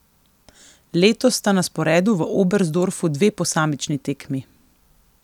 Letos sta na sporedu v Oberstdorfu dve posamični tekmi.